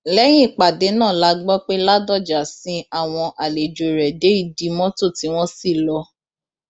lẹyìn ìpàdé náà la gbọ pé ládọjà sin àwọn àlejò rẹ dé ìdí mọtò tí wọn sì lọ